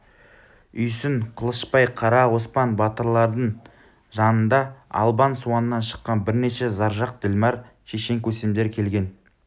үйсін қылышбай қара оспан батырлардың жанында албан суаннан шыққан бірнеше заржақ ділмар шешен көсемдер келген